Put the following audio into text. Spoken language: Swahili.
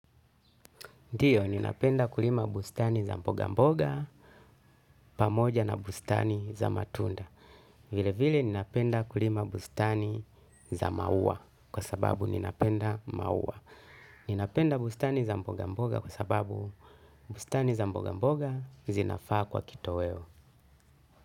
Ndio, ninapenda kulima bustani za mboga mboga pamoja na bustani za matunda. Vile vile ninapenda kulima bustani za maua kwa sababu ninapenda maua. Ninapenda bustani za mboga mboga kwa sababu bustani za mboga mboga zinafaa kuwa kitoweo.